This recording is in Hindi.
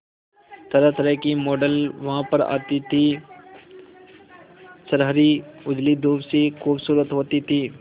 तरहतरह की मॉडल वहां पर आती थी छरहरी उजली दूध सी खूबसूरत होती थी